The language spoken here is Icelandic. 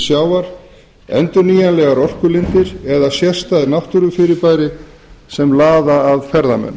sjávar endurnýjanlegar orkulindir eða sérstæð náttúrufyrirbæri sem laða að ferðamenn